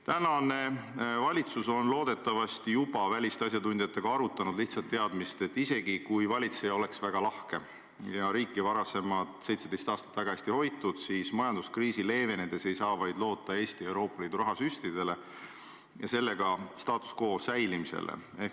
Tänane valitsus on loodetavasti juba asjatundjatega arutanud lihtsat teadmist, et isegi siis, kui valitseja oleks väga lahke ja riik varasemad 17 aastat väga hästi hoitud, siis majanduskriisi leevenedes ei saa Eesti loota vaid Euroopa Liidu rahasüstidele ja selle abil status quo säilimisele.